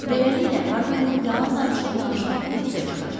Beləliklə, Hardmenin yalan danışıb-danışmadığı üzə çıxacaq.